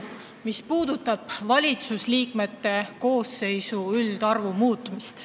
Muudatus puudutab valitsuse koosseisu üldarvu muutmist.